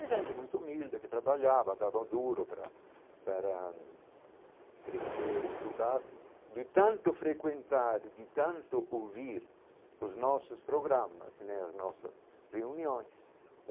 É gente muito humilde que trabalhava, dava duro para para crescer, estudar, de tanto frequentar, de tanto ouvir os nossos programas né, as nossas reuniões.